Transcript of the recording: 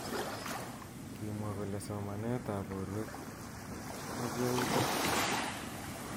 Kimwa kole somanet ab borwek ak yautik chik.